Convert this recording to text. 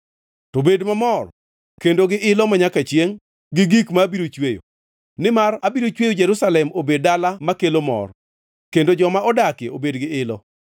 To bed mamor kendo gi ilo manyaka chiengʼ, gi gik ma abiro chweyo, nimar abiro chweyo Jerusalem obed dala makelo mor, kendo joma odakie obed gi ilo.